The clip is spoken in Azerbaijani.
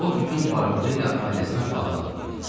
O bütün varlığı ilə ailəsinə bağlı adam idi.